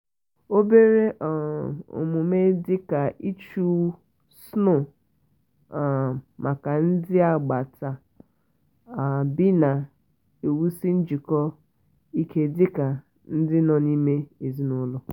obere um omume dị ka ịchụ snow um maka ndi agbata um obina-ewusi njiko ike dị ka ndị nọ n'ime ezinụlọ.